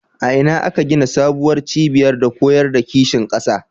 A ina aka gina sabuwar cibiya ta koyar da kishin ƙasa?